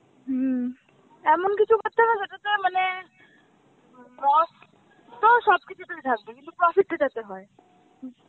হম এমন কিছু করতে হবে যাতে তোর মানে loss তো সবকিছুতেই থাকে কিন্তু profit যেটাতে হয়